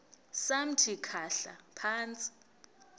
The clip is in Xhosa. samthi khahla phantsi